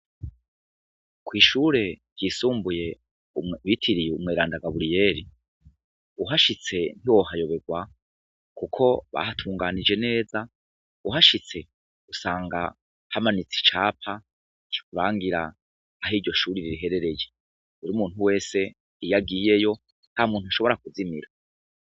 Kw'ishure ryisumbuye, umuntu bitiriye umweranda Gaburiyeri, uhashitse ntiwohayobegwa kuko hatunganije neza, uhashitse usanga hamanitse icapa kikurangira aho iryo shure riherereye, kuburyo umuntu wese iyo agiyeyo nta muntu ashobora kuzimira.